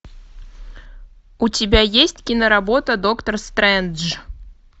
у тебя есть киноработа доктор стрэндж